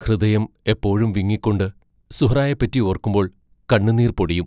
ഹൃദയം എപ്പോഴും വിങ്ങിക്കൊണ്ടി സുഹ്റായെപ്പറ്റി ഓർക്കുമ്പോൾ കണ്ണുനീർ പൊടിയും.